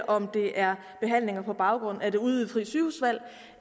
om det er behandlinger på baggrund af det udvidede frie sygehusvalg